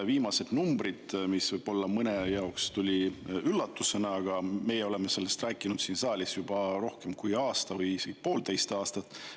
Viimased numbrid tulid võib-olla mõnele üllatusena, aga meie oleme sellest rääkinud siin saalis juba rohkem kui aasta või poolteist aastat.